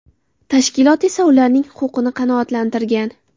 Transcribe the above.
Tashkilot esa ularning huquqini qanoatlantirgan.